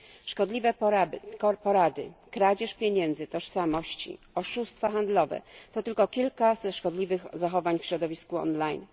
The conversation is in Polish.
Szkodliwe porady, kradzież pieniędzy czy tożsamości, oszustwa handlowe to tylko kilka ze szkodliwych zachowań w środowisku online.